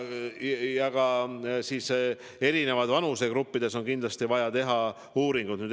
Erinevates vanusegruppides on kindlasti vaja veel uuringud teha.